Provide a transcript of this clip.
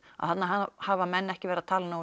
að þarna hafa menn ekki verið að tala